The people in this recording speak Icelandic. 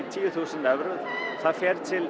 tíu þúsund evrum það fer til